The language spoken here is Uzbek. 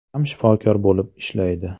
ham shifokor bo‘lib ishlaydi.